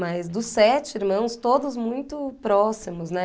Mas dos sete irmãos, todos muito próximos, né?